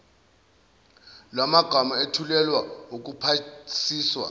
lwamagama ethulelwe ukuphasiswa